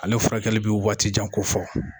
Ale furakɛli bɛ wagati jan kofɔ